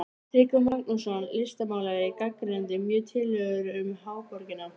Tryggvi Magnússon, listmálari, gagnrýndi mjög tillögurnar um háborgina.